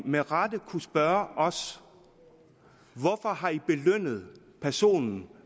med rette kunne spørge os hvorfor har i belønnet personen